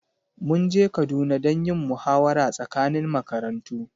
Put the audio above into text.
mun je Kaduna don yin muhawara tsakanin makarantu